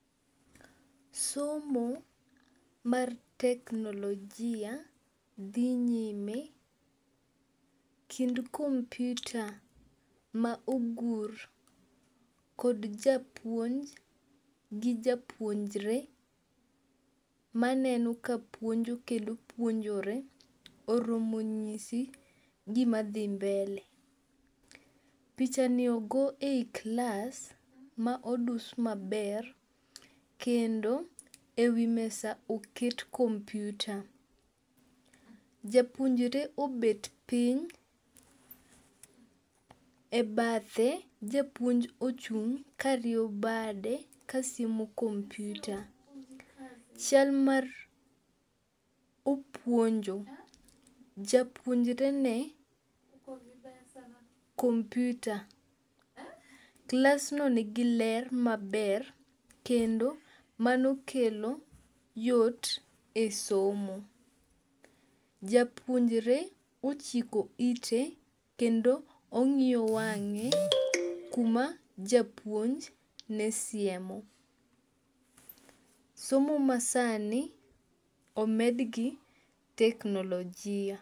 Somo mar teknologia dhi nyime kendo kompyuta ma ogur kod japuonj gi japuonjre maneno ka puonjo kendo puonjore oromo nyisi gima dhi mbele. Picha ni ogo e yi klas ma odus maber kendo e wi mesa oket kompyuta. Japuonjre obet piny e bathe japuonj ochung' ka rieyo bade kasiemo kompyuta. Chal mar opuonjo japuonjre ne kompyuta. Klas no nigi ler maber kendo mano kelo yot e somo. Japuonjre ochiko ite kendo ong'iyo wang'e kuma japuonj ne siemo. Somo ma sani omed gi teknologia.